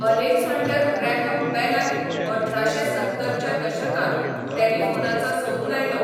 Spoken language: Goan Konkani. अलेकझांडर ग्रॅहम बेलान अठराशें सत्तर च्या दशकांत टेलिफोनाचो सोद लायलो.